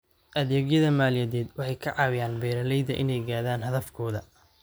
Adeegyada maaliyadeed waxay ka caawiyaan beeralayda inay gaadhaan hadafkooda.